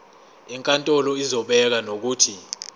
inkantolo izobeka nokuthi